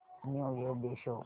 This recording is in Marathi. न्यू इयर डे शो कर